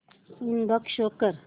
inbox show कर